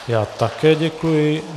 Já také děkuji.